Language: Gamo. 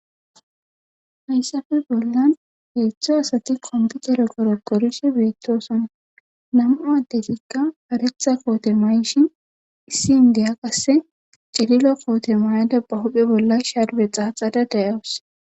Hayssafe bollan heeththo asati kompitere goro gorishe beettosoma nama addetikka paretha koote mayishin issi indeya qasse cililo koote maayada bahuphe bolla shadbe xaaxada dayawus.